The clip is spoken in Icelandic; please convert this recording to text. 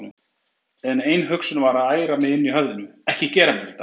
En ein hugsun var að æra mig inni í höfðinu: Ekki gera mér þetta!